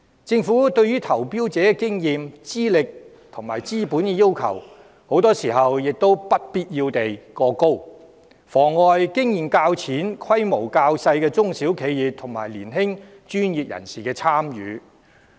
政府對投標者的經驗、資歷和資本要求，很多時不必要地過高，妨礙經驗較淺、規模較小的中小企業和年輕專業人士參與。